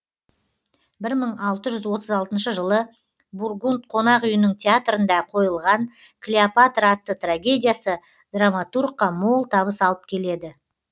бір мың алты жүз отыз алтыншы жылы бургунд қонақ үйінің театрында қойылған клеопатра атты трагедиясы драматургқа мол табыс алып келеді